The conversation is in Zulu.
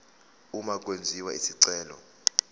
uma kwenziwa isicelo